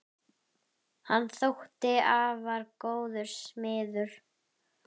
Hann þótti afar góður smiður.